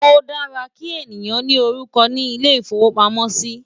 o dára kí èyán ní orúkọ ní ilè ifowo pàmò sí